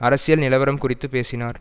அரசியல் நிலவரம் குறித்து பேசினார்